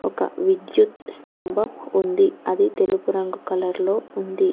ఒక విద్యుత్ స్తంభం ఉంది అది తెలుపు రంగు కలర్లో ఉంది.